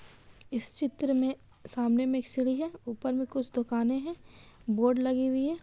इस चित्र में सामने में एक सीढ़ी है ऊपर में कुछ दुकानें हैं बोर्ड लगी हुई है।